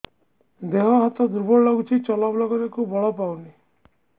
ଦେହ ହାତ ଦୁର୍ବଳ ଲାଗୁଛି ଚଲାବୁଲା କରିବାକୁ ବଳ ପାଉନି